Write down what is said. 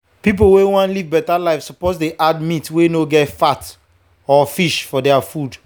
people wey wan live better life suppose dey add meat wey no get fat or fish for their food.